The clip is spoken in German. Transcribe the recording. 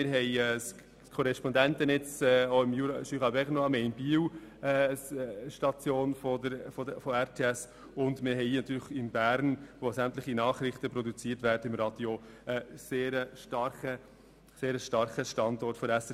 Wir haben im Berner Jura ein Korrespondentennetz, wir haben in Biel eine Station von RTS und in Bern, wo sämtliche Nachrichten für das Radio produziert werden, einen sehr starken Standort der SRG SSR.